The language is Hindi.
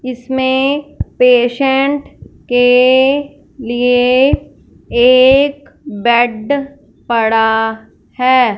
इसमे पेशेंट के लिए एक बेड पड़ा है।